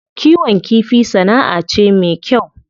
Kiwon kifi sana'a ce me kyau.